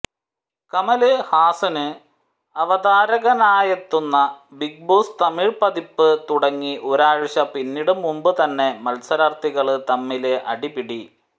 കമല് ഹാസന് അവതാരകനായെത്തുന്ന Bigg Boss Tamil പതിപ്പ് തുടങ്ങി ഒരാഴ്ച പിന്നിടും മുന്പ് തന്നെ മത്സരാര്ഥികള് തമ്മില് അടിപിടി